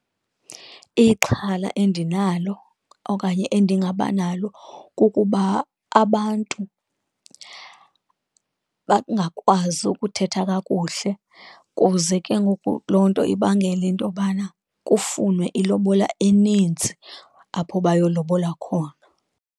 Ixhala endinalo okanye endingaba nalo kukuba abantu bangakwazi ukuthetha kakuhle, kuze ke ngoku loo nto ibangele into yobana kufunwe ilobola eninzi apho bayolobola khona.